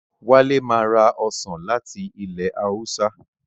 Wálé ma ra Ọsàn láti ilẹ̀ Haúsá